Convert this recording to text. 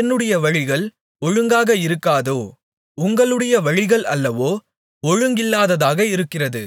என்னுடைய வழிகள் ஒழுங்காக இருக்காதோ உங்களுடைய வழிகள் அல்லவோ ஒழுங்கில்லாததாக இருக்கிறது